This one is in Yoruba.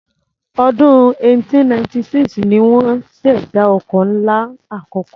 Ọdún 1896 ni wọ́n ṣèdá ọkọ̀ ńlá àkọ́kọ́.